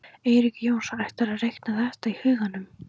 Eiríkur Jónsson: ætlarðu að reikna þetta í huganum?